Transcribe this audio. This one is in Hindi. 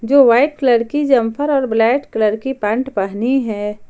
जो वाइट कलर की जम्फर और ब्लैक कलर की पैंट पहनी है।